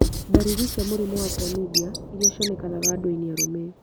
Ndariri cia mũrimũ wa chlamydia iria cionekanaga andũinĩ arũme